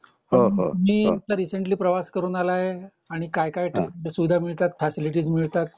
मी आता रिसेंटली प्रवास करून आलोय आणि काय सुविधा मिळतात फॅसिलिटी मिळतात